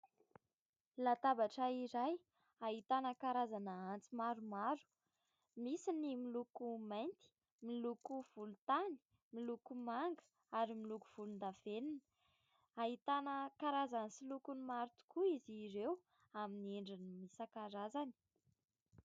Latabatra iray ahitana karazana antsy maro maro. Misy ny miloko mainty, miloko volon-tany, miloko manga ary miloko volon-davenona ; ahitana karazany sy lokony maro tokoa izy ireo amin'ny endriny isan-karazany.